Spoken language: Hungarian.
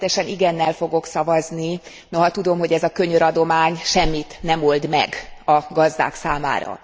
Természetesen igennel fogok szavazni, noha tudom, hogy ez a könyöradomány semmit nem old meg a gazdák számára.